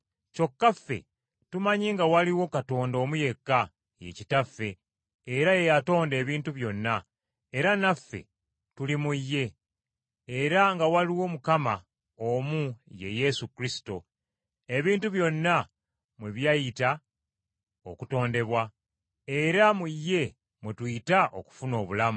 Kyokka ffe tumanyi nga waliwo Katonda omu yekka, ye Kitaffe, era ye yatonda ebintu byonna, era naffe tuli mu ye, era nga waliwo Mukama omu ye Yesu Kristo, ebintu byonna mwe byayita okutondebwa, era mu ye mwe tuyita okufuna obulamu.